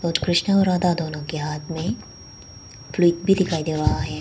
कृष्णा और राधा दोनों के हाथ में प्लेग भी दिखाई दे रहा हैं।